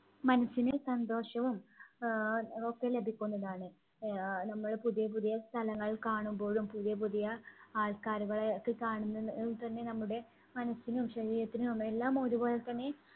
മനസ്സിന് സന്തോഷവും ആഹ് ഒക്കെ ലഭിക്കുന്നതാണ്. ആഹ് നമ്മൾ പുതിയ പുതിയ സ്ഥലങ്ങൾ കാണുമ്പോഴും പുതിയ പുതിയ ആൾക്കാരെ ഒക്കെ കാണുമ്പോ~ഓൾ തന്നെ നമ്മുടെ മനസ്സിനും ശരീരത്തിനും എല്ലാം ഒരുപോലെ തന്നെ